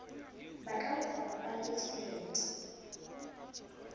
batla ho sa baballe tjhelete